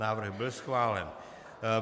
Návrh byl schválen.